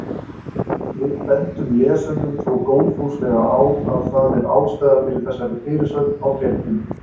Við bendum lesendum þó góðfúslega á að það er ástæða fyrir þessari fyrirsögn á fréttinni.